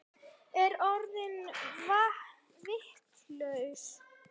Ég er orðin vitlaus